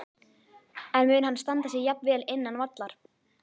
En mun hann standa sig jafn vel innan vallar?